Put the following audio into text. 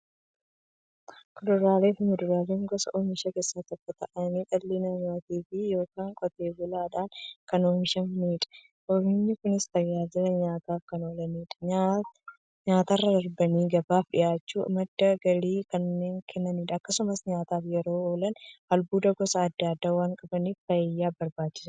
Kuduraafi muduraan gosa oomishaa keessaa tokko ta'anii, dhala namaatin yookiin Qotee bulaadhan kan oomishamaniidha. Oomishni Kunis, tajaajila nyaataf kan oolaniifi nyaatarra darbanii gabaaf dhiyaachuun madda galii kan kennaniidha. Akkasumas nyaataf yeroo oolan, albuuda gosa adda addaa waan qabaniif, fayyaaf barbaachisoodha.